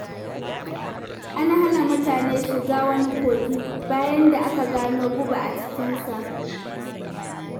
An hana mutane shiga wani kogi, bayan da aka gano guba a cikinsa.